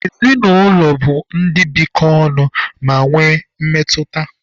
Ezinụlọ bụ ndị bikọ ọnụ ma nwee mmetụta.